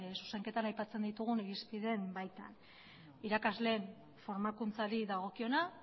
zuzenketan aipatzen ditugun irizpideen baitan irakasleen formakuntzari dagokiona